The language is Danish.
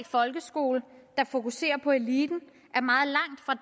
folkeskole der fokuserer på eliten